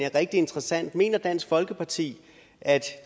er rigtig interessant mener dansk folkeparti at